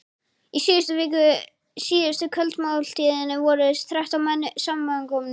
Í síðustu kvöldmáltíðinni voru þrettán menn samankomnir.